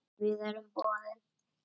Við erum boðin.